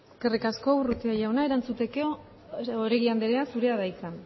eskerrik asko urrutia jauna erantzuteko oregi anderea zurea da hitza